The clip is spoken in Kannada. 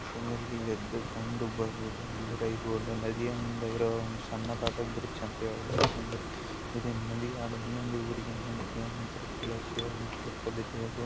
ಈ ದೃಶ್ಯದಲ್ಲಿ ಎದ್ದು ಕಂಡುಬರುವುದೇನೆಂದರೆ ಇದು ಒಂದು ನದಿಯ ಮೇಲಿರುವ ಒಂದು ಬ್ರಿಜ್ ಎಂದು ಹೇಳಬಹುದು ಯಾಕಂದ್ರೆ ಒಂದೂರಿಂದ ಇನ್ನೊಂದು